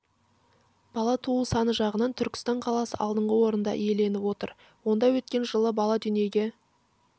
бала туу саны жағынан түркістан қаласы алдыңғы орынды иеленіп отыр онда өткен жылы бала дүниеге